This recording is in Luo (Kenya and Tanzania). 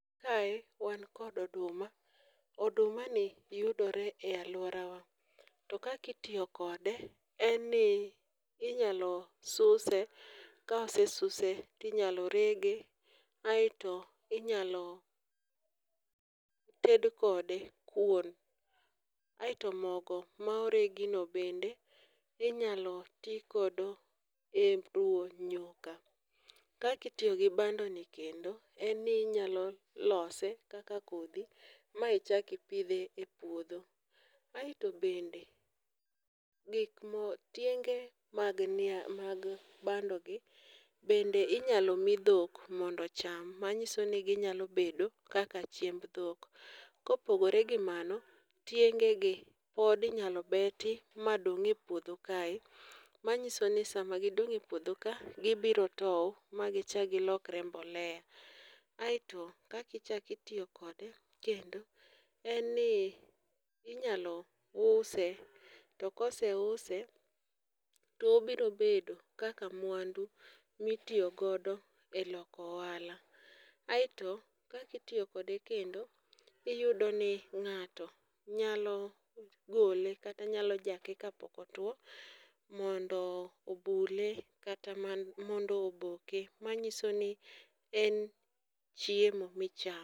Kae wan kod oduma, odumai yudore a alworawa to kaka itiyo kode en ni inyalo suse, ka osesuse tinyalo rege aeto inyalo ted kode kuon ,aeto mogo ma oregino bende inyalo ti godo e ruwo nyuka, kaka itiyo gi badoni kendo en ni inyalo lose kaka kodhi ma ichak ipidhe e puodho, aeto bende, tienge mag bandogi bende inyalo mi dhok mondo ocham manyiso ni ginyalo bedo kaka chiemb dhok, kopogore gi mano, tiengegi pod inyalo beti madong' e puodho kae, manyiso ni sama gidong' e puodhoka, gibiro tow ma gichak gilokre mbolea aeto kaka ichako itiyo kode kendo en ni inyalo use to koseuse, to ibiro bedo kaka mwandu mitiyo godo e loko ohala, aeto kaka itiyo kode kendo iyudo ni ng'ato nyalo gole kata nyalo jake kapok otuwo mondo obule kata mana mondo oboke, manyiso ni en chiemo michamo.